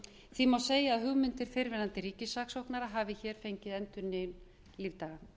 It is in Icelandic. því má segja að hugmyndir fyrrverandi ríkissaksóknara hafi hér fengið endurnýjun lífdaga